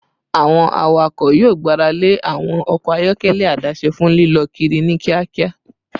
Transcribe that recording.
Awọn awakọ yoo gbarale awọn ọkọ ayọkẹlẹ adase fun lilọ kiri ni kiakia